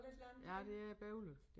Ja det er bøvlet